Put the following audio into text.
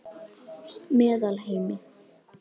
Meðalheimi